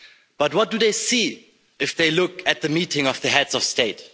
But what do they see if they look at the meeting of the heads of state?